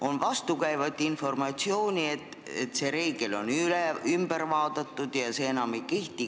On vastukäivat informatsiooni, on ka väidetud, et see reegel enam ei kehti.